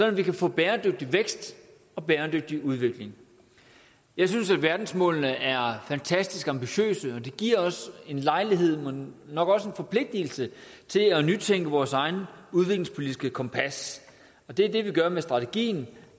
at vi kan få bæredygtig vækst og bæredygtig udvikling jeg synes at verdensmålene er fantastisk ambitiøse og det giver os en lejlighed men nok også en forpligtelse til at nytænke vores eget udviklingspolitiske kompas og det er det vi gør med strategien